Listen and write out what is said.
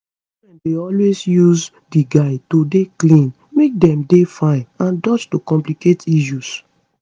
children dey always use di guides to dey clean make dem dey fine and dodge to complicate issues